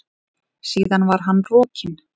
Síðan var hann rokinn.